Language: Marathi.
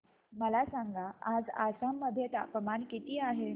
मला सांगा आज आसाम मध्ये तापमान किती आहे